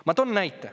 Ma toon näite.